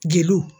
Jeliw